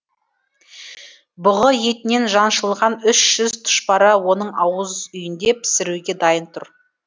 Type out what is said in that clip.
бұғы етінен жаншылған үш жүз тұшпара оның ауызүйінде пісіруге дайын тұр